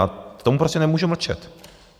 A k tomu prostě nemůžu mlčet.